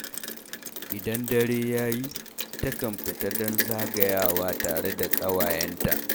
Idan dare ya yi, takan fita don zagayawa tare da ƙawayenta.